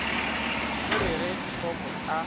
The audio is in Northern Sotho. o re ge thoko a